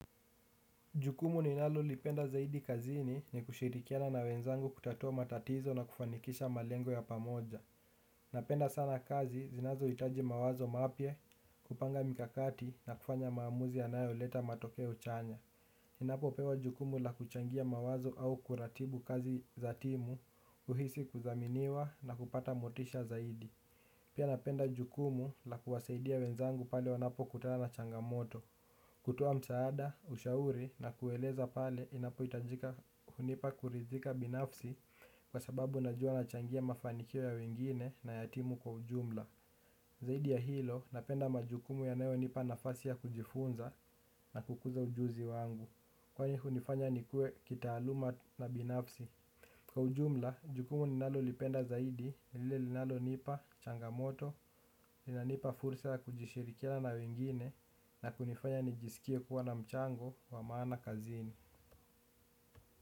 Jukumu ninalolipenda zaidi kazini ni kushirikiana na wenzangu kutatua matatizo na kufanikisha malengo ya pamoja. Napenda sana kazi zinazohitaji mawazo mapya kupanga mikakati na kufanya maamuzi yanayo leta matokeo chanya. Napenda sana kazi zinazohitaji mawazo mapya kupanga mikakati na kufanya maamuzi yanayoleta matokeo chanya huhisi kudhaminiwa na kupata motisha zaidi. Pia napenda jukumu la kuwasaidia wenzangu pale wanapo kutana na changamoto. Kutoa msaada, ushauri na kueleza pale inapohitajika hunipa kuridhika binafsi kwa sababu najua na changia mafanikio ya wengine na ya timu kwa ujumla. Zaidi ya hilo napenda majukumu yanayo nipa nafasi ya kujifunza na kukuza ujuzi wangu, kwani hunifanya nikue kitaaluma na binafsi. Kwa ujumla jukumu ninalolipenda zaidi ni lile linalonipa changamoto linanipa fursa ya kushirikiana na wengine na kunifanya nijisikie kuwa na mchango wa maana kazini.